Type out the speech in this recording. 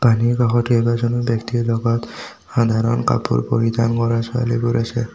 পানীৰ কাষত কেইবাজনো ব্যক্তিৰ লগত সাধাৰণ কাপোৰ পৰিধান কৰা ছোৱালীবোৰ আছে।